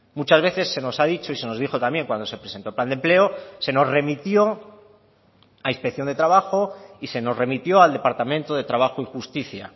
muchas veces se nos ha dicho y se nos dijo también cuando se presentó el plan de empleo se nos remitió a inspección de trabajo y se nos remitió al departamento de trabajo y justicia